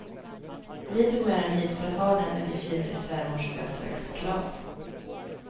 Vi tog med den hit för att ha den när vi firade svärmors födelsedagskalas.